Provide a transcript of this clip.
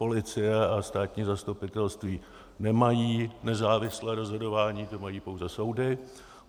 Policie a státní zastupitelství nemají nezávislé rozhodování, to mají pouze soudy.